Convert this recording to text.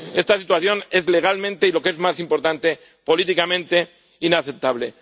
Esta situación es legal y, lo que es más importante, políticamente inaceptable.